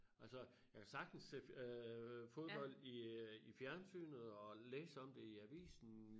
Altså jeg kan sagtens se øh fodbold i øh i fjernsynet og læse om det i avisen